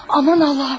Aman Allahım!